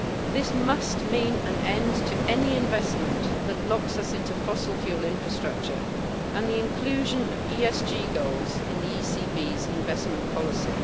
This must mean an end to any investment that locks us into fossil fuel infrastructure and the inclusion of ESG goals in the ECB's investment policy.